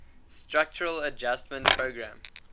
structural adjustment program